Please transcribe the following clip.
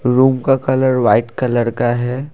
Room का colour white colour का है।